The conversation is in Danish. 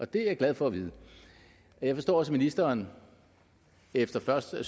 det er jeg glad for at vide jeg forstår også at ministeren efter først at